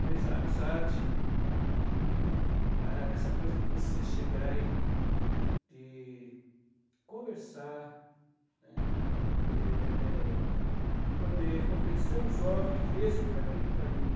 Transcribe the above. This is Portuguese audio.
Mas a amizade, a essa coisa de você chegar e e conversar, né, eh, de poder convencer um jovem que esse é o caminho para ele.